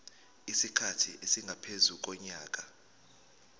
isikhathi esingaphezu konyaka